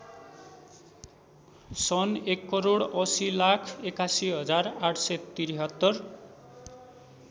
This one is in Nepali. सन् १८०८१८७३